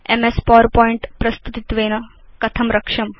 MS PowerPoint प्रस्तुतित्वेन कथं रक्ष्यम्